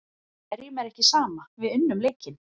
En hverjum er ekki sama, við unnum leikinn.